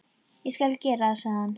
Ég skal gera það, sagði hann.